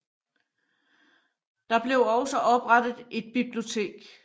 Der blev også oprettet et bibliotek